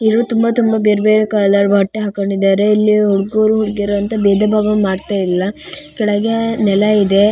ಇದು ತುಂಬಾ ತುಂಬಾ ಬೇರೆ ಬೇರೆ ಕಲರ್ ಬಟ್ಟೆ ಹಾಕೊಂಡಿದ್ದಾರೆ. ಇಲ್ಲಿ ಹುಡುಗರು ಹುಡುಗಿಯರು ಅಂತ ಭೇದ ಭಾವ ಮಾಡ್ತಾ ಇಲ್ಲ. ಕೆಳಗೆ ಕೆಳಗೆ ನೆಲ ಇದೆ.